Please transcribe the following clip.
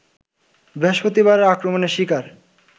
বৃহস্পতিবারের আক্রমণের শিকার